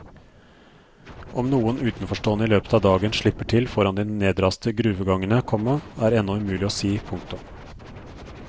Om noen utenforstående i løpet av dagen slipper til foran de nedraste gruvegangene, komma er ennå umulig å si. punktum